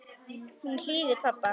Hún hlýðir pabba.